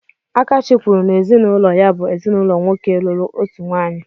Akachi kwuru n'ezinụlọ ya bụ ezinaụlọ nwoke lụrụ otu nwaanyị.